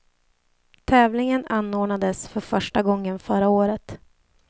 Tävlingen anordnades för första gången förra året.